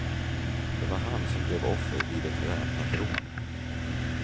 Det var han som blev offer vid ett väpnat rån.